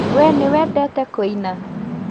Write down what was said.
We nĩwendete kuina?